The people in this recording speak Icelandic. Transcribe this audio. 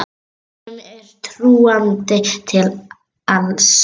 Honum er trúandi til alls.